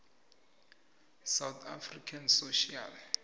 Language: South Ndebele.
yosouth african social